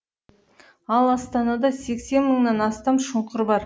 ал астанада сексен мыңнан астам шұңқыр бар